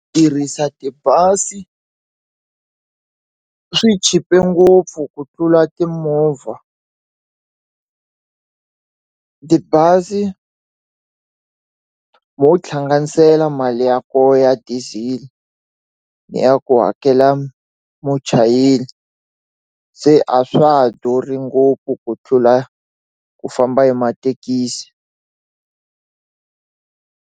Ku tirhisa tibazi swi chipe ngopfu ku tlula timovha tibazi mo hlanganisela mali ya kona ya diesel ni ya ku hakela muchayeri se a swa ha durhi ngopfu ku tlula ku fa famba hi mathekisi